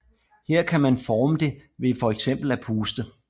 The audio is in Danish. Her kan man forme det ved fx at puste